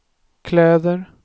kläder